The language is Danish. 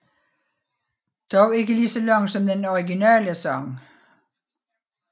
Dog ikke lige så lang som den originale sang